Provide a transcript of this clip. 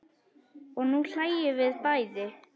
Og nú hlæjum við bæði.